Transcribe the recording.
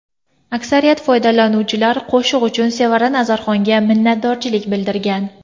Aksariyat foydalanuvchilar qo‘shiq uchun Sevara Nazarxonga minnatdorchilik bildirgan.